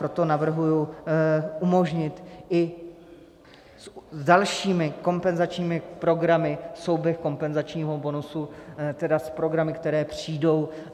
Proto navrhuji umožnit i s dalšími kompenzačními programy souběh kompenzačního bonusu, tedy s programy, které přijdou.